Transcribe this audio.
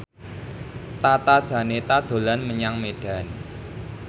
Tata Janeta dolan menyang Medan